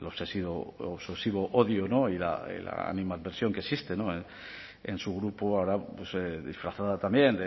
el obsesivo odio y la animadversión que existe en su grupo ahora disfrazada también